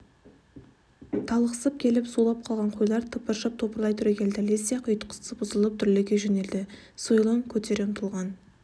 талықсып келіп сулап қалған қойлар тыпыршып топырлай түрегелді лезде-ақ ұйтқысы бұзылып дүрліге жөнелді сойылын көтере ұмтылған